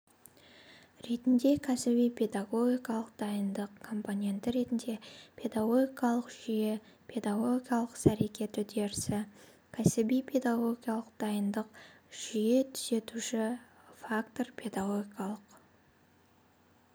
ретінде кәсіби-педагогикалық дайындық компоненті ретінде педагогикалық жүйе педагогикалық ісәрекет үдеріс кәсіби-педагогикалық дайындық жүйетүзуші фактор педагогикалық